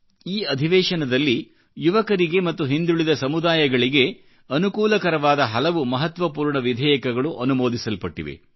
ಈ ಅಧಿವೇಶನದಲ್ಲಿ ಯುವಕರಿಗೆ ಮತ್ತು ಹಿಂದುಳಿದ ಸಮುದಾಯಗಳಿಗೆ ಅನುಕೂಲಕರವಾದಹಲವು ಮಹತ್ವಪೂರ್ಣ ವಿಧೇಯಕಗಳು ಅನುಮೋದಿಸಲ್ಪಟ್ಟಿವೆ